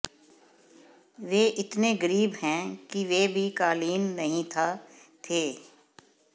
वे इतने गरीब हैं कि वे भी कालीन नहीं था थे